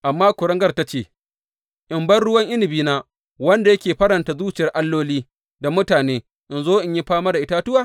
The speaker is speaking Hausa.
Amma kuringar ta ce, In bar ruwan inabina, wanda yake faranta zuciyar alloli da mutane, in zo in yi fama da itatuwa?’